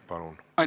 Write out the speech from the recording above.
Palun!